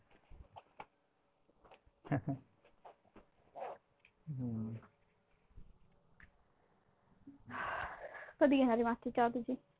कधी घेणार आहे मग आजची चहा तुझी?